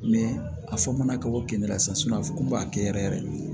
a fɔ mana ka bɔ keninge la sisan a fɔ k'u b'a kɛ yɛrɛ yɛrɛ de